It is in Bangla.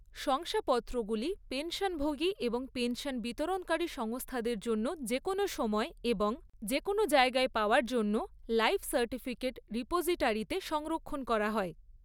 শংসাপত্রগুলি পেনশনভোগী এবং পেনশন বিতরণকারী সংস্থাদের জন্য যে কোনও সময় এবং যে কোনও জায়গায় পাওয়ার জন্য লাইফ সার্টিফিকেট রিপোজিটারিতে সংরক্ষণ করা হয়।